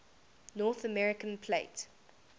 north american plate